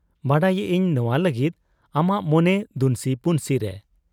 ᱵᱟᱰᱟᱭᱮᱜ ᱟᱹᱧ ᱱᱚᱶᱟ ᱞᱟᱹᱜᱤᱫ ᱟᱢᱟᱜ ᱢᱚᱱᱮ ᱫᱩᱱᱥᱤ ᱯᱩᱱᱥᱤᱨᱮ ᱾